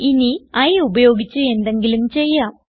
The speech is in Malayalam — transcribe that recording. ഇനി i ഉപയോഗിച്ച് എന്തെങ്കിലും ചെയ്യാം